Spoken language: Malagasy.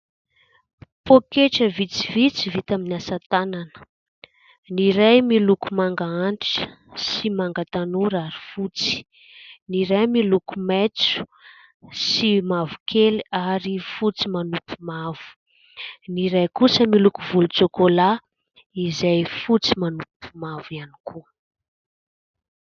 Poketra vitsivitsy vita amin'ny asa tanana ny iray miloko manga antitra sy manga tanora ary fotsy, ny iray miloko maitso sy mavokely ary fotsy manompo mavo, ny iray kosa miloko volontsokolà izay fotsy manopy mavo ihany koa.